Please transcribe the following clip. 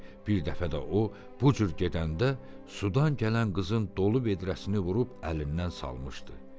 Bir dəfə də o bu cür gedəndə sudan gələn qızın dolu vedrəsini vurub əlindən salmışdı.